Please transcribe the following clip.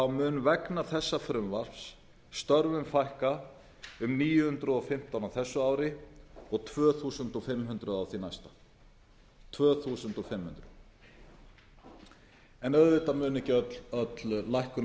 mun vegna þessa frumvarps störfum fækka um níu hundruð og fimmtán á þessu ári og tvö þúsund fimm hundruð á því næsta en auðvitað mun ekki öll lækkun